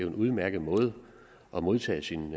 en udmærket måde at modtage sin